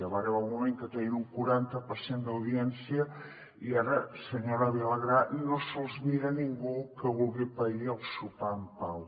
va arribar un moment que tenien un quaranta per cent d’audiència i ara senyora vilagrà no se’ls mira ningú que vulgui pair el sopar en pau